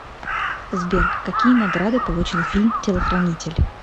сбер какие награды получил фильм телохранитель